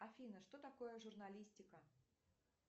афина что такое журналистика